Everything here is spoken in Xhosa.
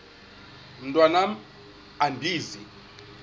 mntwan am andizi